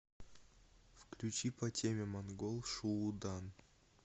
включи по теме монгол шуудан